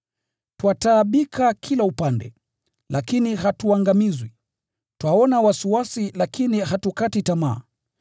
Twataabika kila upande lakini hatuangamizwi; twaona wasiwasi lakini hatukati tamaa;